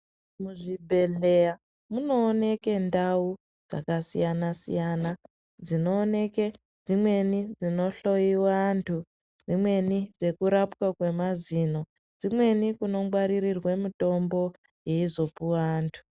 Muzvibhehlera munoonekwe ndau dzakasiyana siyana dzinooneke. Dzimweni dzinoonekwa antu ,dzimweni dzirapirwa antu mazino, dzimweni kunongwaririrwe mitombo yeizopuwa antu.